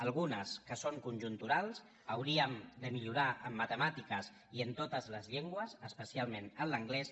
algunes que són conjunturals hauríem de mi·llorar en matemàtiques i en totes les llengües espe·cialment en l’anglès